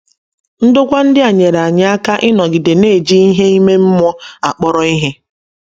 Ndokwa ndị a nyeere anyị aka ịnọgide na - eji ihe ime mmụọ akpọrọ ihe.